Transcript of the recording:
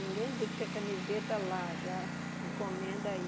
Ninguém busca camiseta lá, já encomenda aí.